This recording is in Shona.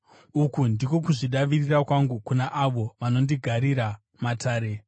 Uku ndiko kuzvidavirira kwangu kuna avo vanondigarira matare.